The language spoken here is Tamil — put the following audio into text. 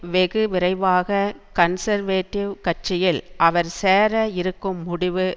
வெகு விரைவாக கன்சர்வேட்டிவ் கட்சியில் அவர் சேர இருக்கும் முடிவு